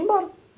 Ia embora.